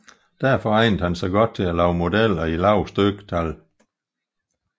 Derfor egnede den sig godt til at lave modeller i lave styktal